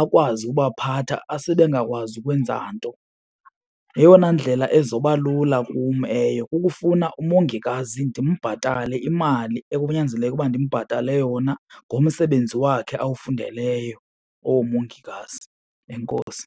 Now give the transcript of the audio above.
akwazi ubaphatha asebengakwazi ukwenza nto. Yeyona ndlela ezoba lula kum eyo kukufuna umongikazi, ndimbhatale imali ekunyanzeleke ukuba ndimbhatale yona ngomsebenzi wakhe awufundeleyo owoomongikazi. Enkosi.